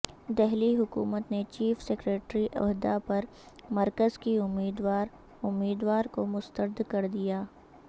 دہلی حکومت نے chief secretary عہدہ پر مرکز کی امیدوار امیدوار کو مسترد کر دیا